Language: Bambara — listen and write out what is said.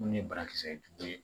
Munnu ye banakisɛ jugu ye